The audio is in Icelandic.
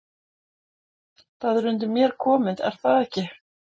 Það er undir mér komið er það ekki?